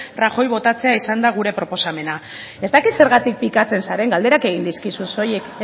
rajoy botatzea izan da gure proposamena ez dakit zergatik pikatzen zaren galderak egin dizkizut soilik